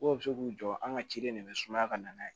Ko bɛ se k'u jɔ an ka ciden de bɛ sumaya ka na n'a ye